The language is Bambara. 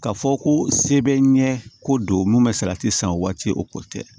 Ka fɔ ko se bɛ n ɲɛ ko don mun bɛ salati san o waati o ko tɛ